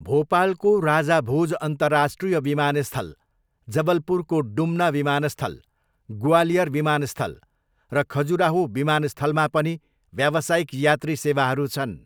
भोपालको राजा भोज अन्तर्राष्ट्रिय विमानस्थल, जबलपुरको डुम्ना विमानस्थल, ग्वालियर विमानस्थल र खजुराहो विमानस्थलमा पनि व्यावसायिक यात्री सेवाहरू छन्।